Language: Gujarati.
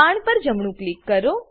બાણ પર જમણું ક્લિક